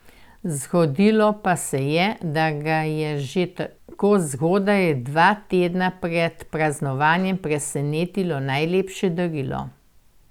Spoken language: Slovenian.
Zgodilo pa se je, da ga je že tako zgodaj, dva tedna pred praznovanjem, presenetilo najlepše darilo.